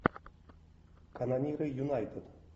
канониры юнайтед